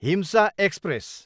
हिम्सा express